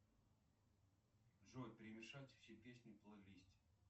джой перемешать все песни в плейлисте